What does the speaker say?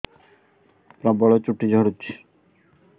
ପ୍ରବଳ ଚୁଟି ଝଡୁଛି